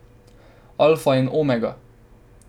Alfa in Omega.